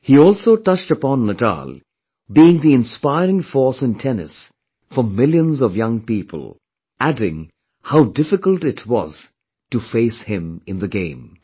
He also touched upon Nadal being the inspiring force in Tennis for millions of young people, adding how difficult it was to face him in the game